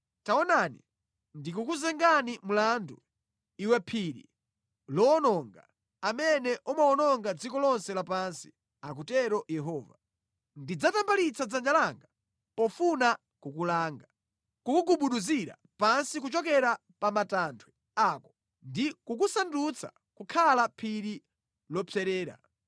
“Taonani, ndikukuzenga mlandu, iwe phiri lowononga, amene umawononga dziko lonse lapansi,” akutero Yehova. “Ndidzatambalitsa dzanja langa pofuna kukulanga, kukugubuduzira pansi kuchokera pa matanthwe ako, ndi kukusandutsa kukhala phiri lopserera.